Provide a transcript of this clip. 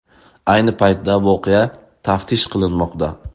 Ayni paytda voqea taftish qilinmoqda.